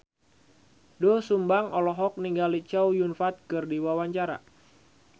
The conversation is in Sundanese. Doel Sumbang olohok ningali Chow Yun Fat keur diwawancara